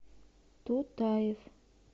тутаев